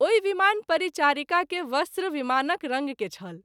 ओहि विमान परिचारिका के वस्त्र विमानक रंग के छल।